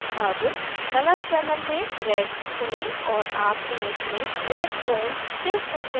अब colour channel में red चुनें और आप image में red tones देख सकते हैं